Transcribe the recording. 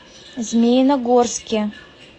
змеиногорске